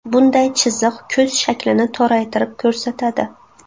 Bunday chiziq ko‘z shaklini toraytirib ko‘rsatadi.